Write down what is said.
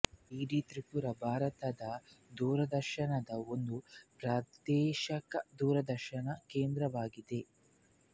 DD Tripura Bharat ದೂರದರ್ಶನದ ಒಂದು ಪ್ರಾದೇಶಿಕ ದೂರದರ್ಶನ ಕೇಂದ್ರವಾಗಿದೆ